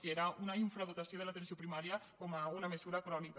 i era una infradotació de l’atenció primària com una mesura crònica